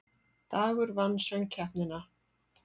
Dagur vann Söngkeppnina